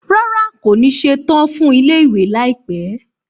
Rárá, kò ní ṣetán fún ilé-ìwé láìpẹ́